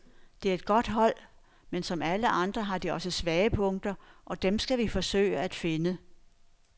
Det er et godt hold, men som alle andre har de også svage punkter, og dem skal vi forsøge at finde.